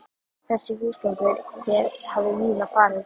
Þessi húsgangur hér hafði víða farið